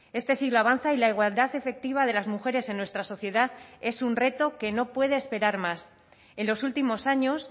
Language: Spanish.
este siglo avanza y la igualdad efectiva de las mujeres en nuestra sociedad es un reto que no puede esperar más en los últimos años